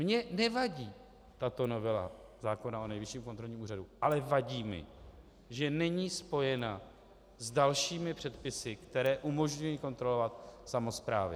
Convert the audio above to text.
Mně nevadí tato novela zákona o Nejvyšším kontrolním úřadu, ale vadí mi, že není spojena s dalšími předpisy, které umožňují kontrolovat samosprávy.